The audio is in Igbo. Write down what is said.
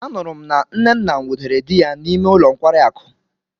Anuru m na nnenna nwudere di ya n'ime ulo nkwari akụ.